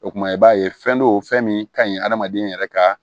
O kumana i b'a ye fɛn do fɛn min ka ɲi hadamaden yɛrɛ ka